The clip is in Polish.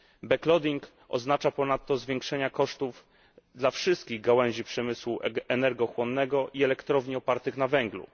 Backloading oznacza ponadto zwiększenie kosztów dla wszystkich gałęzi przemysłu energochłonnego i elektrowni opartych na węglu.